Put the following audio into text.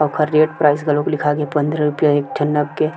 ओखर rate price घलो लिखा गे पंद्रह रुपया एक ठन नग के --